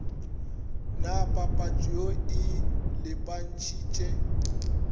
na papatšo ye e lebantšhitše